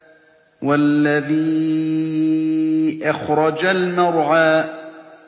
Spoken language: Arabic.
وَالَّذِي أَخْرَجَ الْمَرْعَىٰ